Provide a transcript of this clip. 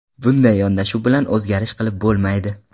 Bunday yondashuv bilan o‘zgarish qilib bo‘lmaydi.